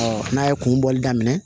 n'a ye kun bɔli daminɛ